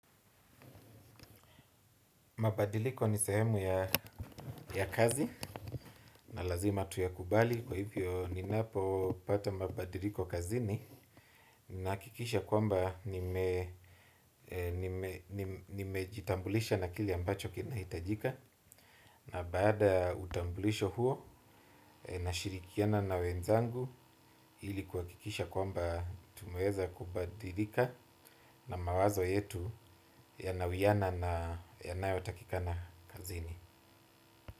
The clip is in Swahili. Mabadiliko ni sehemu ya kazi na lazima tuyakubali, kwahivyo ninapopata mabadiliko kazini nahakikisha kwamba nimejitambulisha na kile ambacho kinahitajika na baada ya utambulisho huo nashirikiana na wenzangu ili kuhakikisha kwamba tumeweza kubadilika na mawazo yetu yanawiana na yanayotakikana kazini.